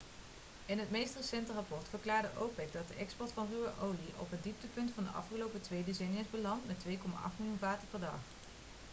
in het meest recente rapport verklaarde opec dat de export van ruwe olie op het dieptepunt van de afgelopen twee decennia is beland met 2,8 miljoen vaten per dag